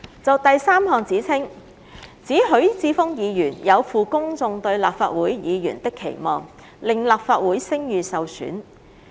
就第三項指稱，指許智峯議員有負公眾對立法會議員的期望，令立法會聲譽受損。